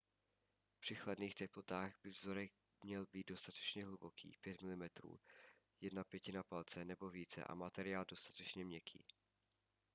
při chladných teplotách by vzorek měl být dostatečně hluboký – 5 mm 1/5 palce nebo více – a materiál dostatečně měkký